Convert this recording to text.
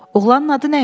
Oğlanın adı nə idi?